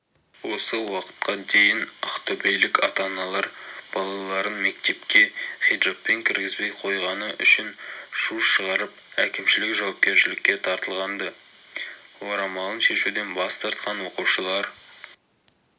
осы уақытқа дейін ақтөбелік ата-аналар балаларын мектепке хиджабпен кіргізбей қойғаны үшін шу шығарып әкімшілік жауапкершілікке тартылған-ды орамалын шешуден бас тартқан оқушылар